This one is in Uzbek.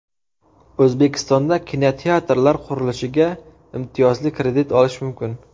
O‘zbekistonda kinoteatrlar qurilishiga imtiyozli kredit olish mumkin.